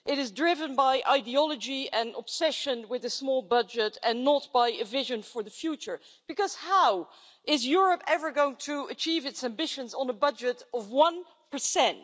It is driven by ideology and obsession with a small budget and not by a vision for the future because how is Europe ever going to achieve its ambitions on a budget of one percent?